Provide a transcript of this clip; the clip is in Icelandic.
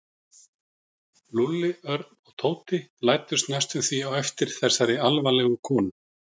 Lúlli, Örn og Tóti læddust næstum því á eftir þessari alvarlegu konu.